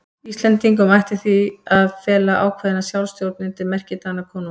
Íslendingum ætti því að fela ákveðna sjálfstjórn undir merki Danakonungs.